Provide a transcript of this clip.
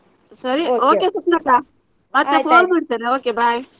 ಸ್ವಪ್ನಕ್ಕ phone ಮಾಡ್ತೇನೆ okay bye .